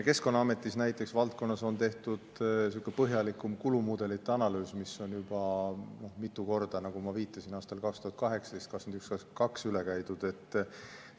Keskkonnaametis näiteks valdkonnas on tehtud niisugune põhjalikum kulumudelite analüüs, mis on juba mitu korda, nagu ma viitasin, aastal 2018, 2021 ja 2022 üle käidud.